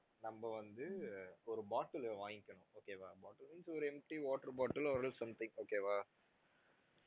நம்ம வந்து ஒரு bottle உ வாங்கிக்கனும் okay வா bottle means ஒரு empty water bottle or else something okay வா